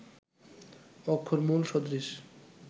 অক্ষরমূল সদৃশ